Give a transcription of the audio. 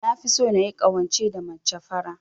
Nafi so nayi ƙawance da mace fara.